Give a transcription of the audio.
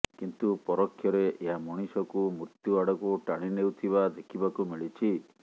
କିନ୍ତୁ ପରୋକ୍ଷରେ ଏହା ମଣିଷକୁ ମୃତ୍ୟୁ ଆଡକୁ ଟାଣିନେଉଥିବା ଦେଖିବାକୁ ମିଳିଛି